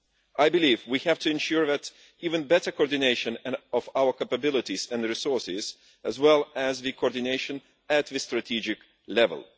I believe we have to ensure even better coordination of our capabilities and resources, as well as coordination at the strategic level.